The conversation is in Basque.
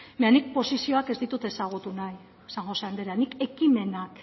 baina nik posizioak ez ditut ezagutu nahi san josé anderea nik ekimenak